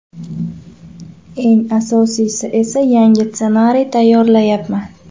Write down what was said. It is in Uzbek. Eng asosiysi esa yangi ssenariy tayyorlayapman.